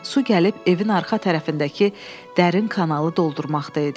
Su gəlib evin arxa tərəfindəki dərin kanalı doldurmaqda idi.